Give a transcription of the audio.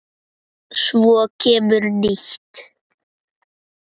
Svo kemur nýtt.